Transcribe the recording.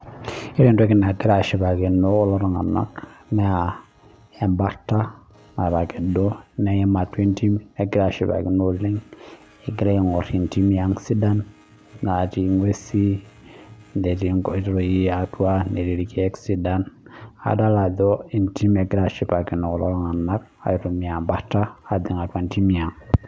Ore entoki nagira ashipakino kulo tung'ana naa ebarta natakedo neyim atua entim negira ashipakino oleng egira ayim entimi ang sidan natii ng'uesi netii nkoitoi atua netii nkoitoi sidan adol Ajo entim egira kulo ashipakino aitumia ebarta ajing atum nidim ang